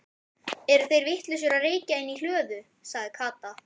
Eru þeir vitlausir að reykja inni í hlöðu? sagði Kata.